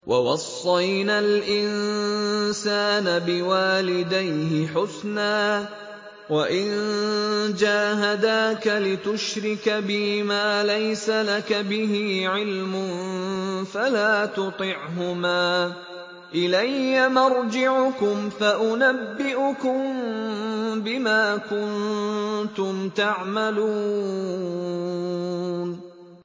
وَوَصَّيْنَا الْإِنسَانَ بِوَالِدَيْهِ حُسْنًا ۖ وَإِن جَاهَدَاكَ لِتُشْرِكَ بِي مَا لَيْسَ لَكَ بِهِ عِلْمٌ فَلَا تُطِعْهُمَا ۚ إِلَيَّ مَرْجِعُكُمْ فَأُنَبِّئُكُم بِمَا كُنتُمْ تَعْمَلُونَ